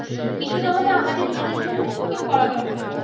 কিছুনা হলেও আমাদের নিজেদের জন্য ও কিন্তু করা দরকার